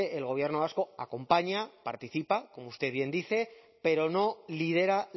el gobierno vasco acompaña participa como usted bien dice pero no lidera